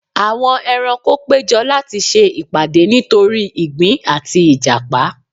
Àwọn ẹranko péjọ láti se ìpàdé nítorí igbin àti ìjàpá